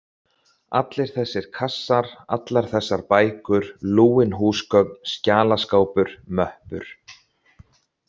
Allir þessir kassar, allar þessar bækur, lúin húsgögn, skjalaskápur, möppur.